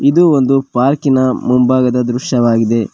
ಇದು ಒಂದು ಪಾರ್ಕಿನ ಮುಂಭಾಗದ ದೃಶ್ಯವಾಗಿದೆ.